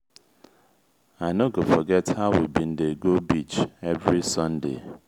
i no go forget how we bin dey go beach every sunday.